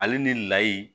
Ale ni layi